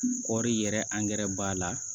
Kɔɔri yɛrɛ b'a la